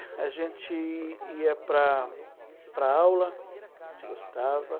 A gente ia para para a aula, a gente gostava.